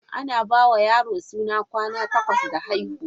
Ana ba wa yaro suna kwana takwas da haihuwa.